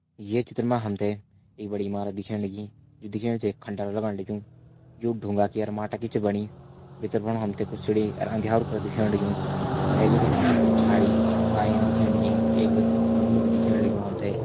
ये चित्र मा हमते एक बड़ी ईमारत दिखेण लगीं ये दिखेण से ये खण्डर लगण लग्युं यु ढुंगा की और माटा की च बणी भित्तर बणाे हमते कुछ सीडी और अँध्यारु कर दिख्याण लग्युं भैर भीटे हमते कुछ झाड़ी काईन दिख्येण लगीं एक लुक-लुक दिख्येण लग्युं हमते।